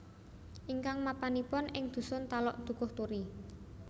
Ingkang mapanipun ing dhusun Talok Dukuhturi